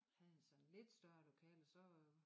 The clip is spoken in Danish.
Havde sådan lidt større lokale så